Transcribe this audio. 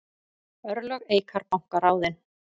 Örlög Eikar banka ráðin